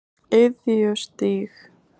Iðjustíg